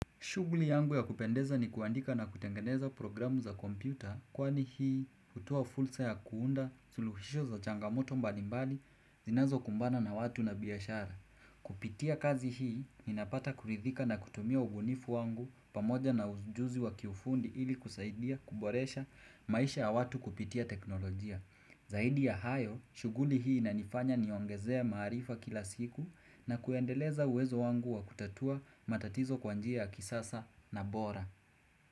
Shuguli yangu ya kupendeza ni kuandika na kutengeneza programu za kompyuta kwani hii hutoa fursa ya kuunda suluhisho za changamoto mbalimbali zinazo kumbana na watu na biashara. Kupitia kazi hii ni napata kuridhika na kutumia ubunifu wangu pamoja na ujuzi wa kiufundi ili kusaidia kuboresha maisha ya watu kupitia teknolojia. Zaidi ya hayo, shuguli hii ina nifanya niongezea maarifa kila siku na kuendeleza uwezo wangu wa kutatua matatizo kwa njia ya kisasa na bora.